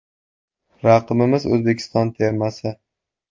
Raqibimiz O‘zbekiston termasi.